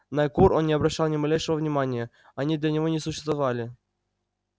на кур он не обращал ни малейшего внимания они для него не существовали